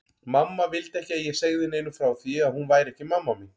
Mamma vildi ekki að ég segði neinum frá því að hún væri ekki mamma mín.